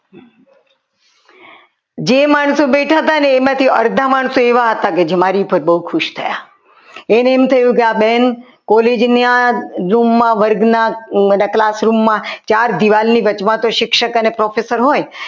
જે માણસો બેઠા હતા ને એમાંથી અડધા માણસો એવા હતા જે મારી ઉપર બહુ ખુશ થયા એને એમ થયું કે આ બેન college ના room માં વર્ગમાં એટલે classroom માં ચાર દીવાલની વચમાં તો શિક્ષક અને professor હોય